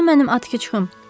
Hanı mənim atxıçım?